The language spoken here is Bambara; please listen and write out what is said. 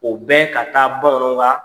O bɛ ka taa kaa